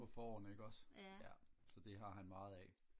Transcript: på fårene ikke også ja så det har han meget af